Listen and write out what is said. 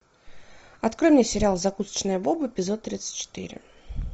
открой мне сериал закусочная боба эпизод тридцать четыре